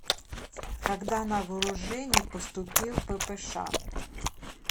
когда на вооружение поступил ппш